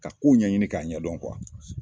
Ka kow ɲɛɲini k'a ɲɛdɔn kosɛbɛ.